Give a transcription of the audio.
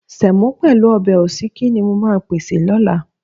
Sẹ̀mọ́ pẹ̀lú ọbẹ̀ òsíkí ni mo máa pèsè lọ́la.